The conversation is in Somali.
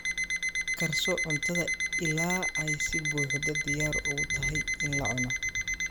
Karso cuntada ilaa ay si buuxda diyaar ugu tahay in la cuno.